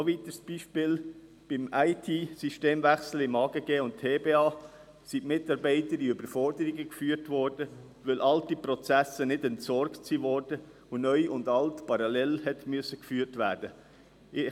Noch ein weiteres Beispiel: Beim IT-Systemwechsel im Amt für Grundstücke und Gebäude (AGG) und im Tiefbauamt (TBA) wurden die Mitarbeiter Überforderungssituationen ausgesetzt, weil alte Prozesse nicht entsorgt wurden und Neu und Alt parallel geführt werden musste.